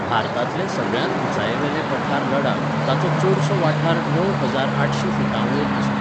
भारतांतलें सगळ्यांत उंचायेवेलें पठार लडाख, ताचो चडसो वाठार णव हजार आठशी फुटांवयर आसा.